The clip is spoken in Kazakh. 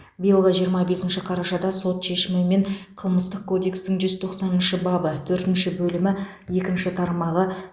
биылғы жиырма бесінші қарашада сот шешімімен қылмыстық кодекстің жүз тоқсаныншы бабы төртінші бөлімі екінші тармағы